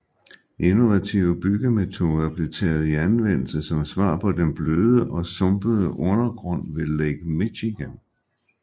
Innovative byggemetoder blev taget i anvendelse som svar på den bløde og sumpede undergrund ved Lake Michigan